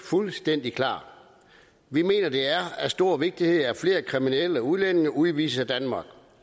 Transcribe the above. fuldstændig klar vi mener det er af stor vigtighed at flere kriminelle udlændinge udvises af danmark